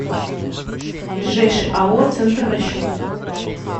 ближайший ао центр расчетов